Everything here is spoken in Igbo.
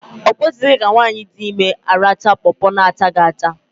O kwesịghị ka nwaanyị di ime arachaa pọpọ na achaghị acha